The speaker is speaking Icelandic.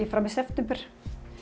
fram í september